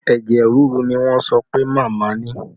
Ẹ̀jẹ̀ rírú ni wọ́n sọ pé màmá ni